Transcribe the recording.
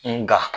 Nka